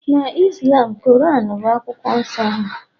na Islam, Quran bụ akwụkwọ nsọ ha